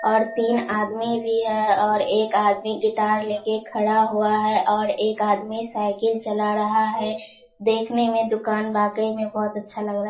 और तीन आदमी भी है और एक आदमी गिटार लेके खड़ा हुआ है और एक आदमी साइकिल चला रहा है देखने में दुकान वाकई में बहुत अच्‍छा लग रहा।